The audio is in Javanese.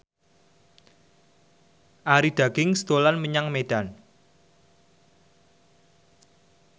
Arie Daginks dolan menyang Medan